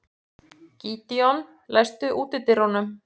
Gídeon, læstu útidyrunum.